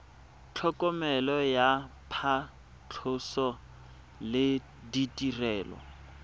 tlhokomelo ya phatlhoso le ditirelo